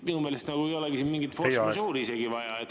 Minu meelest ei ole siin mingit force majeure'i isegi vaja.